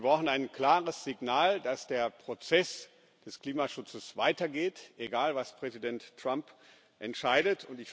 Wir brauchen ein klares Signal, dass der Prozess des Klimaschutzes weitergeht egal, was Präsident Trump entscheidet.